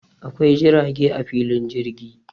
Akwai jirage a filin jirgi